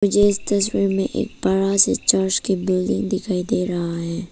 मुझे इस तस्वीर में एक बड़ा से चर्च का बिल्डिंग दिखाई दे रहा है।